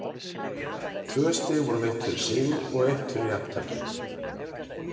Tvö stig voru veitt fyrir sigur og eitt fyrir jafntefli.